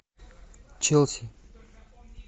челси